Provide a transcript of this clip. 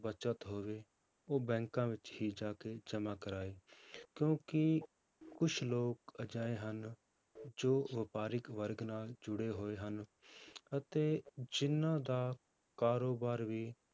ਬਚਤ ਹੋਵੇ ਉਹ ਬੈਂਕਾਂ ਵਿੱਚ ਹੀ ਜਾ ਕੇ ਜਮਾਂ ਕਰਵਾਏ ਕਿਉਂਕਿ ਕੁਛ ਲੋਕ ਅਜਿਹੇ ਹਨ ਜੋ ਵਪਾਰਿਕ ਵਰਗ ਨਾਲ ਜੁੜੇ ਹੋਏ ਹਨ ਅਤੇ ਜਿੰਨਾਂ ਦਾ ਕਾਰੋਬਾਰ ਵੀ,